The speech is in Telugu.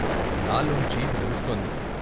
నాలోంచి మెరుస్తోంది.